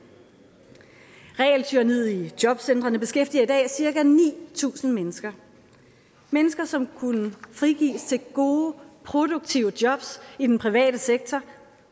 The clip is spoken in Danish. regeltyranniet i jobcentrene beskæftiger i dag cirka ni tusind mennesker mennesker som kunne frigives til gode produktive jobs i den private sektor